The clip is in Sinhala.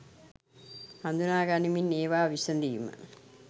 හඳුනා ගනිමින් ඒවා විසඳීම